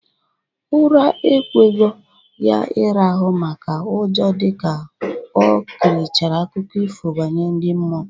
Ura ekwegho ya ịrahụ maka ụjọ dịka o kirichara akụkọ ifo banyere ndị mmụọ